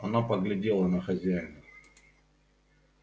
она поглядела на хозяина